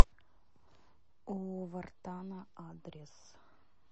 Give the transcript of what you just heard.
у вартана адрес